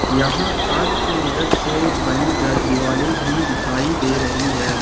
यहां कांच की मदद से बनी द दिवाले भी दिखाई दे रही है।